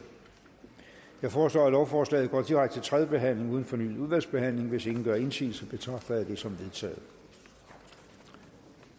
jeg foreslår at lovforslaget går direkte til tredje behandling uden fornyet udvalgsbehandling hvis ingen gør indsigelse betragter jeg det som vedtaget